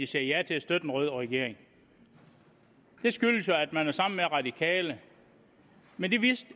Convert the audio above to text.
sagde ja til at støtte en rød regering det skyldes at man er sammen med radikale men